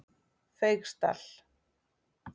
Feigsdal